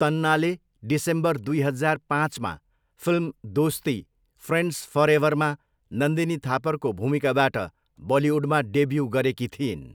तन्नाले December दुई हजार पाँचमा फिल्म दोस्ती, फ्रेन्ड्स फरएभरमा नन्दिनी थापरको भूमिकाबाट बलिउडमा डेब्यु गरेकी थिइन्।